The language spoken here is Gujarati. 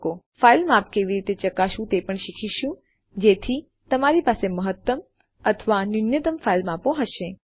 આપણે ફાઈલ માપ કેવી રીતે ચકાસવું તે પણ શીખીશું જેથી તમારી પાસે મહત્તમ અથવા ન્યૂનતમ ફાઈલ માપ હશે